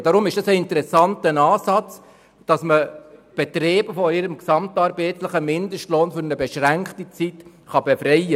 Deshalb ist es ein interessanter Ansatz, Betriebe für eine beschränkte Zeit von ihrem gesamtarbeitsvertraglichen Mindestlohn zu befreien.